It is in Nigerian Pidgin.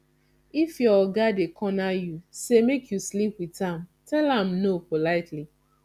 if your oga dey corner you sey make you sleep witn am tell am no politely